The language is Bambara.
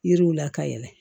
Yiriw la ka yɛlɛ